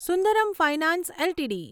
Sundaram Finance LTD